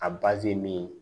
A min